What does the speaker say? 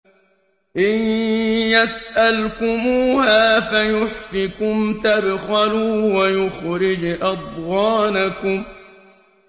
إِن يَسْأَلْكُمُوهَا فَيُحْفِكُمْ تَبْخَلُوا وَيُخْرِجْ أَضْغَانَكُمْ